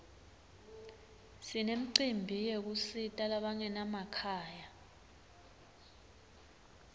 sinemcimbi yekusita labangena makhaya